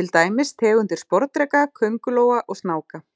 til dæmis tegundir sporðdreka, köngulóa og snáka.